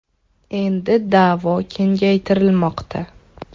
Endi da’vo kengaytirilmoqda.